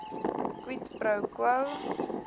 quid pro quo